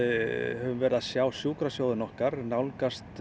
höfum verið að sjá sjúkrasjóðinn okkar nálgast